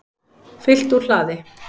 Fylgt úr hlaði